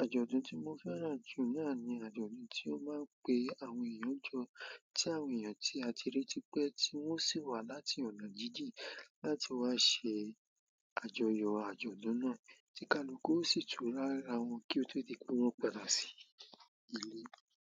Ajọdun tí mo fẹ́ràn jù náà ni ajọdun tí o má ń pè àwọn èèyàn jọ ti àwọn èèyàn ti a ti rí tipẹ wọn o sì wá láti ọ̀nà jíjìn láti wá ṣe àjọyọ̀ àjọ̀dún náà, tí kaluku o sì tu rí ara wọn kí ó tó di pé wọ́n padà sí ilé.